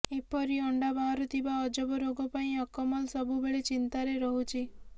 ଏପରି ଅଣ୍ଡା ବାହାରୁଥିବା ଅଜବ ରୋଗ ପାଇଁ ଅକମଲ ସବୁବେଳେ ଚିନ୍ତାରେ ରହୁଛି